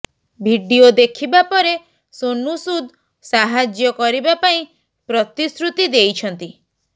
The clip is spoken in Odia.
ଭିଡ଼ିଓ ଦେଖିବା ପରେ ସୋନୁ ସୁଦ ସାହାଯ୍ୟ କରିବା ପାଇଁ ପ୍ରତିଶ୍ରୁତି ଦେଇଛନ୍ତି